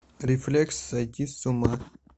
рефлекс сойти с ума